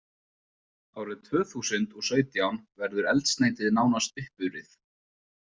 Árið tvö þúsund og og sautján verður eldsneytið nánast uppurið.